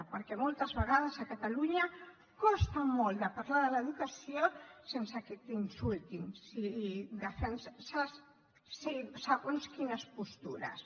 perquè moltes vegades a catalunya costa molt parlar de l’educació sense que t’insultin si defenses segons quines postures